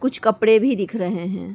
कुछ कपड़े भी दिख रहे हैं।